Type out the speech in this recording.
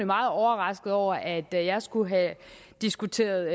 meget overrasket over at at jeg skulle have diskuteret